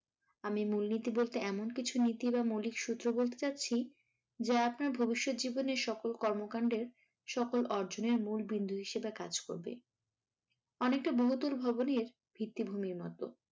আমি মূলনীতি বলতে এমন কিছু নীতি বা মৌলিক সূত্র বলতে যাচ্ছি যা আপনার ভবিষৎ জীবনের সকল কর্মকান্ডের সকল অর্জনীয় মূল বিন্দু হিসাবে কাজ করবে। অনেকটা বহুতল ভবনের ভিত্তি-ভূমির মতো।